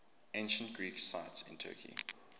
ancient greek sites in turkey